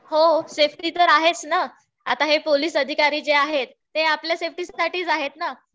हो. सेफ्टी तर आहेच ना. आता हे पोलीस अधिकारी जे आहेत ते आपल्या सेफ्टीसाठीच आहेत ना.